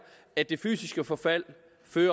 at det fysiske forfald